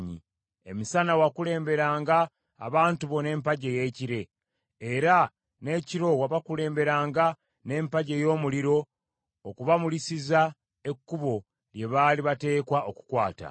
Emisana wakulemberanga abantu bo n’empagi ey’ekire, era n’ekiro wabakulemberanga n’empagi ey’omuliro okubamulisiza ekkubo lye baali bateekwa okukwata.